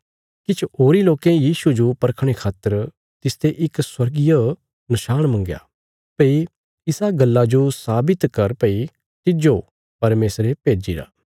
किछ होरीं लोकें यीशुये जो परखणे खातर तिसते इक स्वर्गीय नशाण मंगया भई इसा गल्ला जो साबित कर भई तिज्जो परमेशरे भेज्जिरा